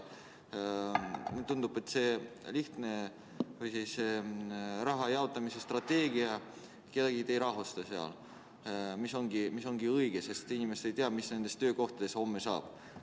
Mulle tundub, et see raha jaotamise strateegia ei rahusta kedagi, sest inimesed ei tea, mis nende töökohtadest homme saab.